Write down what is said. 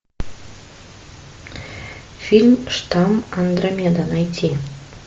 фильм штам андромеда найти